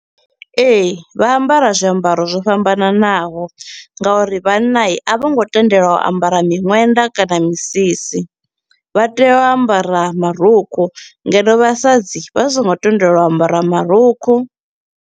Ee, vha ambara zwiambaro zwo fhambananaho nga uri vhanna i, a vho ngo tendelwa u ambara miṅwenda kana misisi, vha tea u ambara marukhu, ngeno vhasadzi vha so ngo tendelwa u ambara marukhu.